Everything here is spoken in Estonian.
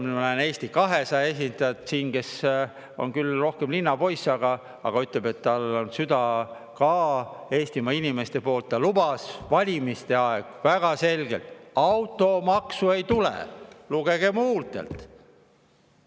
Ma näen siin ka Eesti 200 esindajat, kes on küll rohkem linnapoiss, aga ütleb, et ta on südames ka Eestimaa inimeste poolt, ta lubas valimiste ajal väga selgelt, et automaksu ei tule, lugege mu huultelt.